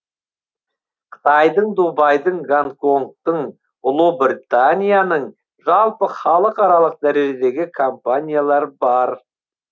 қытайдың дубайдың гонконгтың ұлыбританияның жалпы халықаралық дәрежедегі компаниялар бар